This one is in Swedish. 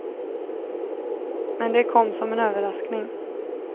Men det kom som en överraskning.